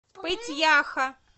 пыть яха